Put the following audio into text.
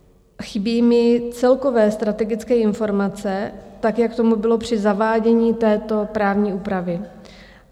Chybí mi celkové strategické informace, tak jak tomu bylo při zavádění této právní úpravy.